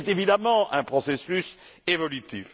C'est, évidemment, un processus évolutif.